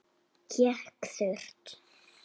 Hékk þurrt.